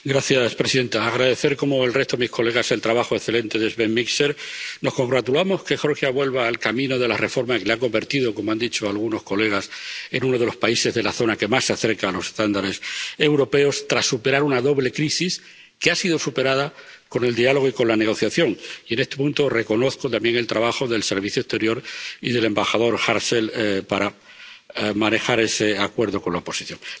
Señora presidenta, quisiera agradecer, como el resto de sus señorías, el trabajo excelente de Sven Mikser. Nos congratulamos de que Georgia vuelva al camino de la reforma que lo ha convertido, como han dicho algunas de sus señorías, en uno de los países de la zona que más se acerca a los estándares europeos, tras superar una doble crisis, que ha sido superada con el diálogo y con la negociación y, en este punto, reconozco también el trabajo del Servicio Europeo de Acción Exterior y del embajador Hartzell para manejar ese acuerdo con la oposición.